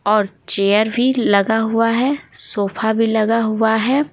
और चेयर भी लगा हुआ है सोफा भी लगा हुआ है।